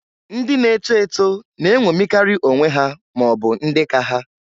Ndị na-eto eto na-enwomikari onwe ha ma ọbụ ndị ka ha.